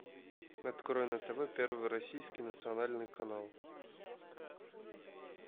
открой на тв первый российский национальный канал